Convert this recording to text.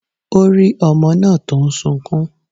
Ó rí ọmọ náà tó ń sunkún.